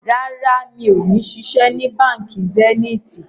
Rárá, mi ò ṣiṣẹ́ ni Báńkì Zenith